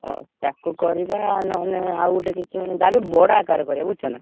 ହଉ ତାକୁ କରିବା ନହେଲେ ଆଉ ଗୋଟେ କିଛି ନହେଲେ ଯାହାବି ବଡ ଆକାରରେ କରିଆ ବୁଝୁଛ ନା?